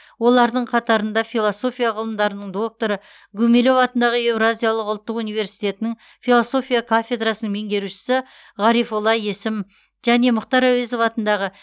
олардың қатарында философия ғылымдарының докторы гумилев атындағы еуразиялық ұлттық университетінің философия кафедрасының меңгерушісі ғарифолла есім және мұхтар әуезов атындағы